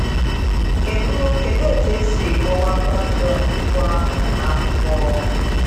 Kedụ Kedụ etú e si kọwaa “ Babilọn Ukwu ahụ ” na akwụkwo?